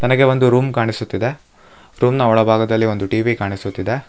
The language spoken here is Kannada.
ಹಾಗೆ ಒಂದು ರೂಮ್ ಕಾಣಿಸುತ್ತಿದೆ ರೂಮ್ ನ ಒಳಭಾಗದಲ್ಲಿ ಒಂದು ಟಿ_ವಿ ಕಾಣಿಸುತ್ತಿದೆ.